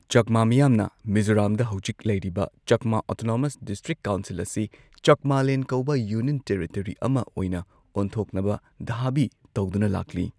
ꯆꯛꯃꯥ ꯃꯤꯌꯥꯝꯅ ꯃꯤꯖꯣꯔꯥꯝꯗ ꯍꯧꯖꯤꯛ ꯂꯩꯔꯤꯕ ꯆꯛꯃꯥ ꯑꯣꯇꯣꯅꯣꯃꯁ ꯗꯤꯁꯇ꯭ꯔꯤꯛ ꯀꯥꯎꯟꯁꯤꯜ ꯑꯁꯤ ꯆꯛꯃꯥꯂꯦꯟ ꯀꯧꯕ ꯌꯨꯅꯤꯌꯟ ꯇꯦꯔꯤꯇꯣꯔꯤ ꯑꯃ ꯑꯣꯏꯅ ꯑꯣꯟꯊꯣꯛꯅꯕ ꯙꯥꯕꯤ ꯇꯧꯗꯨꯅ ꯂꯥꯛꯂꯤ꯫